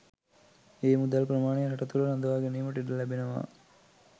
ඒ මුදල් ප්‍රමාණය රට තුළ රඳවා ගැනීමට ඉඩ ලැබෙනවා.